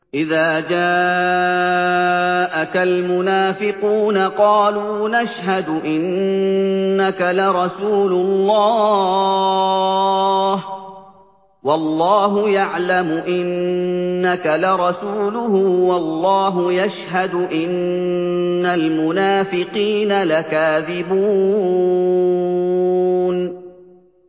إِذَا جَاءَكَ الْمُنَافِقُونَ قَالُوا نَشْهَدُ إِنَّكَ لَرَسُولُ اللَّهِ ۗ وَاللَّهُ يَعْلَمُ إِنَّكَ لَرَسُولُهُ وَاللَّهُ يَشْهَدُ إِنَّ الْمُنَافِقِينَ لَكَاذِبُونَ